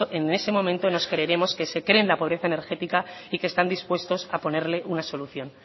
en ese momento nos creeremos que se creen la pobreza energética y que están dispuestos a ponerle una solución